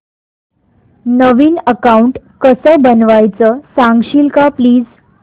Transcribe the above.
नवीन account कसं बनवायचं सांगशील का प्लीज